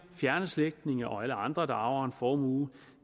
fjerne slægtninge og alle andre der arver en formue